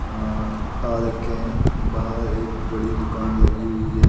अँ आ रखे हैं। बहार एक बड़ी दुकान लगी हुई है।